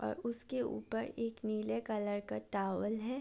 और उसके ऊपर एक नीले कलर का टावल है।